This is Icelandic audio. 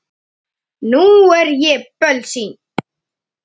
Nú er ég bölsýn.